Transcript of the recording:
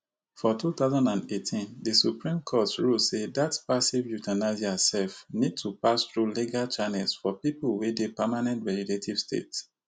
for two thousand and eighteen di supreme court rule say dat passive euthanasia sef need to pass through legal channels for pipo wey dey permanent vegetative state